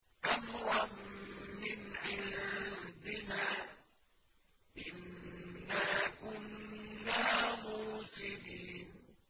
أَمْرًا مِّنْ عِندِنَا ۚ إِنَّا كُنَّا مُرْسِلِينَ